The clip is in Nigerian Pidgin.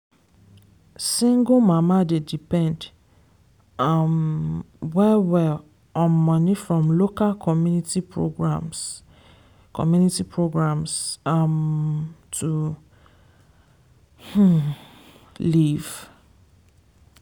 single mama dey depend um well well on money from local community programs community programs um to um live.